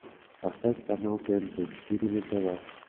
поставь канал тнт четыре на тв